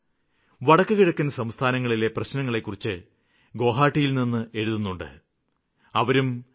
വടക്കുകിഴക്കന് സംസ്ഥാനങ്ങളിലെ പ്രശ്നങ്ങളെക്കുറിച്ച് ഗോഹാട്ടിയില്നിന്ന് ഭാവേശ് ധേക്കാ എനിക്ക് എഴുതാറുണ്ട് അവരും ടി